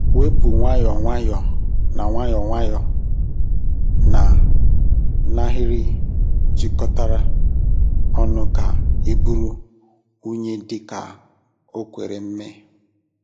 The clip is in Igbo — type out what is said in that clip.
Wepu nwayọọ nwayọọ na nwayọọ nwayọọ na n'ahịrị jikọtara ọnụ ka iburu unyi dị ka o kwere mee.